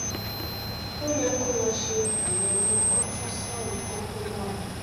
ó yẹ kó o lọ ṣe àyẹwò ultrasound kókó náà